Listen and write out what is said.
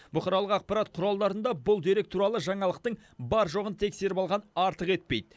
бұқаралық ақпарат құралдарында бұл дерек туралы жаңалықтың бар жоғын тексеріп алған артық етпейді